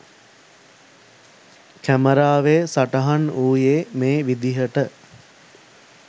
කැමරාවේ සටහන් වූයේ මේ විදිහට.